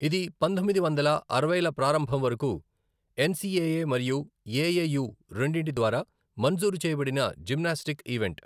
ఇది పంతొమ్మిది వందల అరవైల ప్రారంభం వరకు ఎన్సిఏఏ మరియు ఏఏయూ, రెండింటి ద్వారా మంజూరు చేయబడిన జిమ్నాస్టిక్ ఈవెంట్.